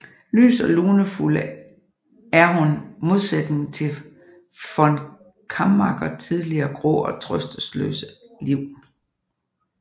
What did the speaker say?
Lys og lunefuld er hun modsætningen til von Kammacher tidligere grå og trøsteløse liv